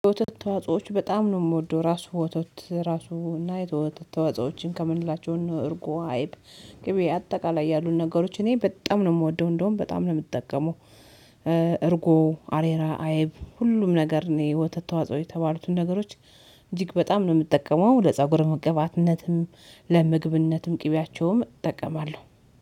የወተት ተዋጾዎች በጣም ነው የምወደው ራሱ ወተት ራሱ እና የወተት ተዋጾዎችን ከምንላቸው እርጉ አይብ ቅቤ አጠቃላይ ያሉት ነገሮች እኔ በጣም ነው የምወደው እንደውም በጣም ነው የምጠቀመው። እርጎ አሬራ አይብ ሁሉም ነገር የወተት ተዋጽኦ የተባሉትን ነገሮች እጅግ በጣም ነው የምጠቀመው። ወደ ለፀጉር ቅባትነትም ለምግብነትም ቅቢያቸውም እጠቀማለሁ